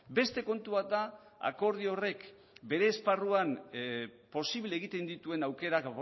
beste kontu bat da akordio horrek bere esparruan posible egiten dituen aukerak